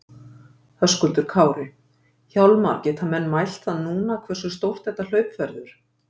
Höskuldur Kári: Hjálmar, geta menn mælt það núna hversu stórt þetta hlaup verður?